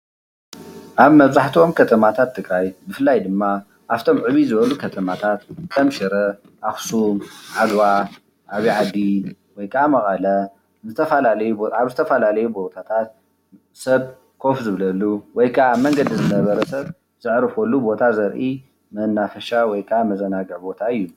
ኣብ መብዛሕትኦም ከተማታት ትግራይ ብፍላይ ድማ ኣብቶም ዕብይ ዝበሉ ከተማታት ከም ሽረ፣ ኣክሱም፣ ዓድዋ፣ ዓብይ ዓዲ ወይ ከዓ መቐለ ኣብ ዝተፈላለዩ ቦታታት ሰብ ኮፍ ዝብለሉ ወይ ከአ አብ መንገዲ ዝነበረ ሰብ ዘዕርፈሉ ቦታ ዘርኢ መናፈሻ ወይ ከዓ መዘናግዒ ቦታ እዩ፡፡